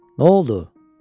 Nə oldu, dedi?